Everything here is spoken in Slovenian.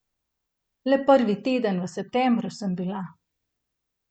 Le prvi teden v septembru sem bila.